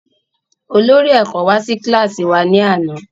Olórí ẹ̀kọ́ wá sí kílàsì wa ní àná